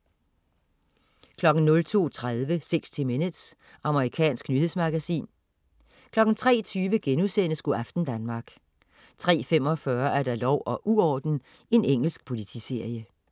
02.30 60 minutes. Amerikansk nyhedsmagasin 03.20 Go' aften Danmark* 03.45 Lov og uorden. Engelsk politiserie